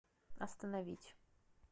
остановить